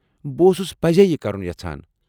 بہٕ اوسُس پٔزی یہِ کرُن یژھان۔